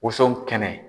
Woso kɛnɛ